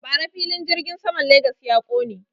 Bara filin jirgin saman Legas ya ƙone.